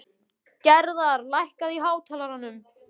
Gerðar, lækkaðu í hátalaranum.